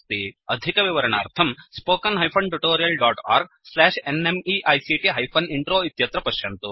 अधिकविवरणार्थं spoken hyphen tutorial dot org slash NMEICT hyphen intro इत्यत्र पश्यन्तु